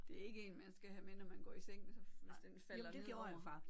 Det er ikke en man skal have med når man går i seng hvis så hvis den falder ned over